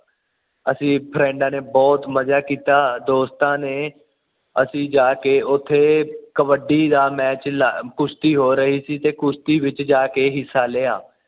ਅਸੀਂ ਫਰੈਂਡਾ ਨੇ ਬੁਹਤ ਮਜਾ ਕੀਤਾ ਦੋਸਤਾਂ ਨੇ ਅਸੀਂ ਜਾ ਕੇ ਉਥੇ ਕਬੱਡੀ ਦਾ ਮੈਚ ਲਾ ਕੁਸ਼ਤੀ ਹੋ ਰਹੀ ਸੀ ਤੇ ਅਸੀਂ ਕੁਸ਼ਤੀ ਵਿੱਚ ਜਾ ਕੇ ਹਿਸਾ ਲਿਆ